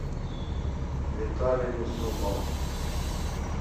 виталий юсупов